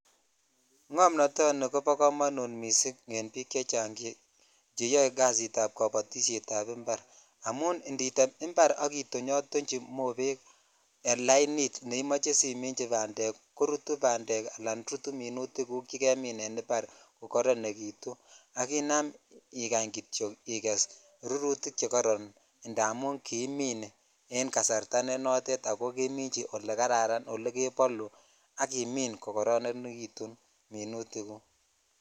Ng'omnoto kobo komonut missing en bik chechang cheyoe kasit ab kobotishet ab impar amun ititem impak itochyini moped en lani neimoche asimich bandak korut bandek ala minutigug chekemit en impar ko koronekitu ak inam ikany kityok iges rurutik chekoron tamun kimin en kasarta nenoton ako kemichi olekararan elekebol ak imin kokororenekitun mimutik guk.